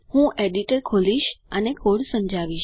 હું એડિટર ખોલીશ અને કોડ સમજાવીશ